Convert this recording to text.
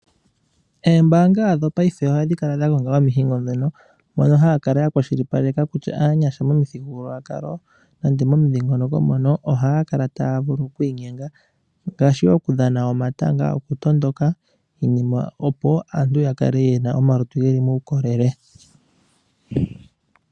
Oombaanga dhopaife ohadhi kala dhagongela omihingo dhono mono haya kala ya kwashilipaleka kutya aanyasha momithigululwakalo nenge momudhiingoloko mono ohaya kala taya vulu okwiinyenga ngaashi okudhana omatanga, okutondoka opo aantu ya kale ye na omalutu geli muukolele.